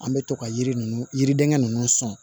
An bɛ to ka yiri ninnu yiriden ninnu sɔn